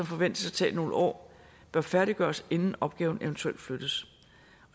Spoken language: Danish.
forventes at tage nogle år bør færdiggøres inden opgaven eventuelt flyttes